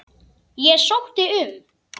Ég sótti um.